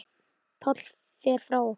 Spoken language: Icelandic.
Páll fer frá okkur.